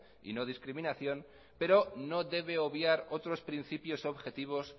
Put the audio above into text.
y no discriminación pero no debe obviar otros principios objetivos